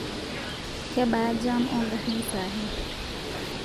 kebaa jam ongarin sahi